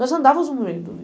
Nós andávamos no meio do lixo.